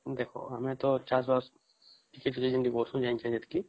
ଦେଖ ଆମେ ତ ଚାଷ୍ ବାସ ଟିକେ ଟିକେ